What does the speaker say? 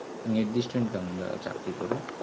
নির্দিষ্ট income যারা চাকরি করে